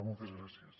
moltes gràcies